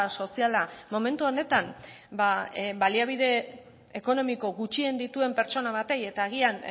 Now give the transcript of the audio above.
soziala momentu honetan baliabide ekonomiko gutxien dituen pertsona bati eta agian